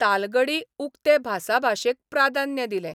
तालगडी उक्ते भासाभाशेक प्राधान्य दिलें.